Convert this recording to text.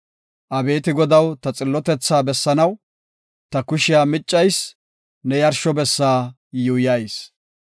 Abeeti Godaw, ta xillotethaa bessanaw ta kushiya meeccayis; ne yarsho bessa yuuyayis.